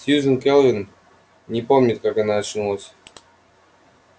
сьюзен кэлвин не помнит как она очнулась